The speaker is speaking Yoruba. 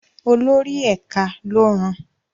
Olórí ẹ̀ka ló rán an.